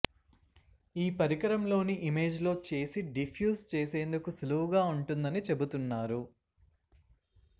ఈ పరికరంలోని ఇమేజ్లో చేసి డిఫ్యూజ్ చేసేందుకు సులువుగా ఉంటుందని చెబుతున్నారు